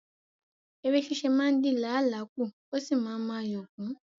Ère ṣíṣe máa ń dín làálàá kù ó sì máa ń mú ayọ̀ kún